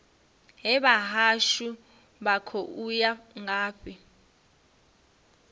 hee vhahashu vha khou ya ngafhi